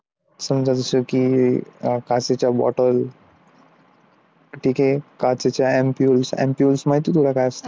समजा जसं की काचेच्या bottles ठीक आहे काचेच्या ampules तुला ampules काय असतं?